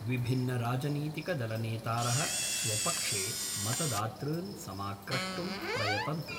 विभिन्नराजनीतिकदलनेतारः स्वपक्षे मतदातृन् समाक्रष्टुं प्रयतन्ते।